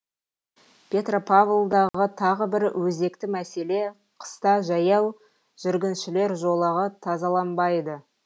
петропавлдағы тағы бір өзекті мәселе қыста жаяу жүргіншілер жолағы тазаланбайды